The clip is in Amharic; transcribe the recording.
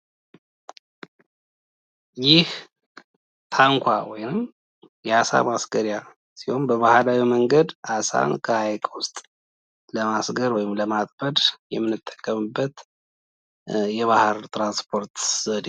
ይህ ታንኳ ወይም የአሳ ማስገረያ ሲሆን በባህላዊ መንገድ አሳን ከሀይቅ ውስጥለማስገር ወይም ለማጥመድ የምንጠቀምበት የባህር ትራንስፖርት ዘዴ ነው።